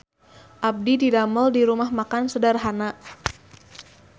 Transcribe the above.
Abdi didamel di Rumah Makan Sederhana